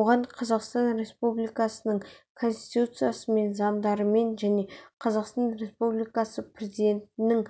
оған қазақстан республикасының конституциясымен заңдарымен және қазақстан республикасы президентінің